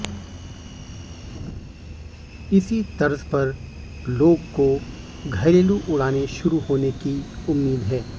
इसी तर्ज पर लोग को घरेलू उड़ानें शुरू होने की उम्मीद है